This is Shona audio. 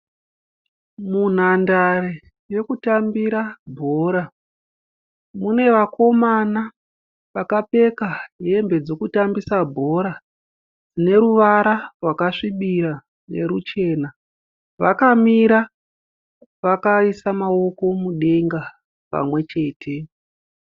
Munhandare yekutambira bhora. Mune vakomana vakapfeka hembe dzekutambisa bhora neruvara rwakasvibira neruchena. Vakamira vakaisa maoko mudenga pamwechete.